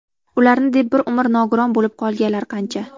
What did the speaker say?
Ularni deb bir umr nogiron bo‘lib qolganlar qancha.